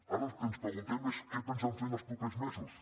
ara el que ens preguntem és què pensen els propers mesos